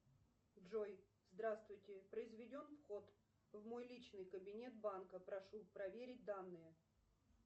джой здравствуйте произведен вход в мой личный кабинет банка прошу проверить данные